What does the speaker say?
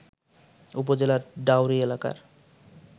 উপজেলার ডাওরী এলাকার